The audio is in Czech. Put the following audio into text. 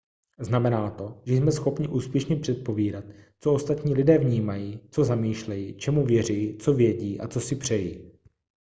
znamená to že jsme schopni úspěšně předpovídat co ostatní lidé vnímají co zamýšlejí čemu věří co vědí a co si přejí